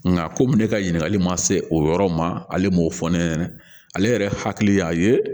Nka komi ne ka ɲininkali ma se o yɔrɔ ma ale m'o fɔ ne ɲɛna ale yɛrɛ hakili y'a ye